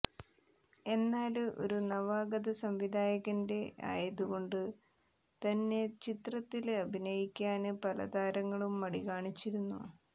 എന്നാല് ഒരു നവാഗത സംവിധായകന്റെ ആയതുക്കൊണ്ട് തന്നെ ചിത്രത്തില് അഭിനയിക്കാന് പല താരങ്ങളും മടി കാണിച്ചിരുന്നു